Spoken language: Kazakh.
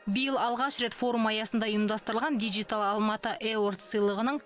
биыл алғаш рет форум аясында ұйымдастырылған дигитал алматы эвардс сыйлығының